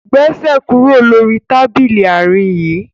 Gbèsè kúrò lórí Tábìlì Àárín bayí!